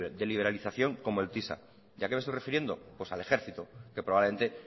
de liberalización como el tisa y a qué me estoy refiriendo pues al ejercitó que probablemente